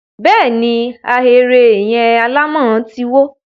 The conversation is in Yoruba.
bẹ́ẹ̀ ni, Ahéré yẹn alámọ̀ ti wó.